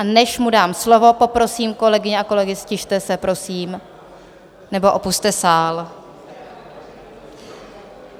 A než mu dám slovo, poprosím kolegyně a kolegy, ztište se prosím nebo opusťte sál.